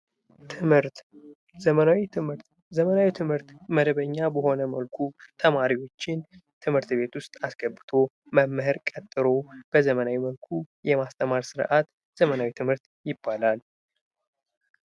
ትምህርት፤ ዘመናዊ ትምህርት፦ ዘመናዊ ትምህርት መደበኛ በሆነ መልኩ ተማሪዎችን ትምህርት ቤት ውስጥ አስገብቶ፣ መምህር ቀጥሮ በዘመናዊ መልኩ የማስተማር ስርአት ዘመናዊ ትምህርት ይባላል።